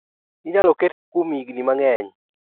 Inyalo ket gi kuom igni mang'eny.